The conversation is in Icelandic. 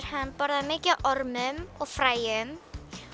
hann borðar er mikið af ormum og fræjum